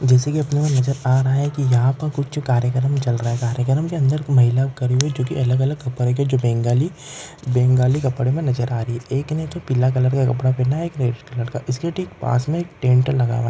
जैसे कि अपने को नजर आ रहा है कि यहां पर कुछ कार्यक्रम चल रहा है कार्यक्रम के अंदर महिला खड़ी हुई है अलग-अलग कपड़े में जो बंगाली बंगाली कपड़ों में नजर आ रही है एक ने पीला कलर का कपड़ा पहना है एक रेड कलर का इसके ठीक पास में टेंट लगा हुआ है।